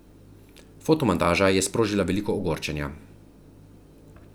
Fotomontaža je sprožila veliko ogorčenja.